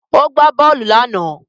O gba bóòlù náà.